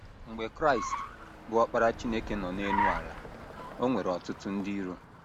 Mgbe Kraịst, bụ́ Ọkpara Chineke nọ n’elu ala, o nwere ọtụtụ ndị iro.